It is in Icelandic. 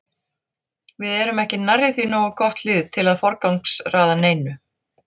Við erum ekki nærri því nógu gott lið til að forgangsraða neinu.